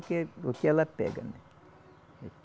Porque o que ela pega, né?